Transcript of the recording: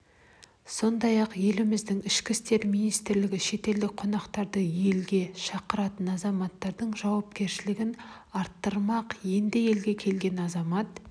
сондай-ақ еліміздің ішкі істер министрлігі шетелдік қонақтарды елге шақыратын азаматтардың жауапкершілігін арттырмақ енді елге келген азамат